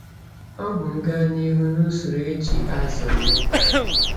Ọ bụ m gaa n'ihu na ụsoro eji azụ nni?